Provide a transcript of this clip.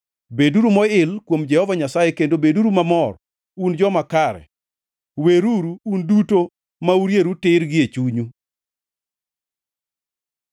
Beduru moil kuom Jehova Nyasaye, kendo beduru mamor, un joma kare; weruru, un duto ma urieru tir gie chunyu!